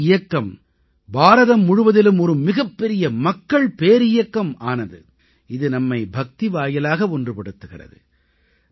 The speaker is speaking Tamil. பக்தி இயக்கம் பாரதம் முழுவதிலும் ஒரு மிகப்பெரிய மக்கள் பேரியக்கம் ஆனது இது நம்மை பக்தி வாயிலாக ஒன்றுபடுத்துகிறது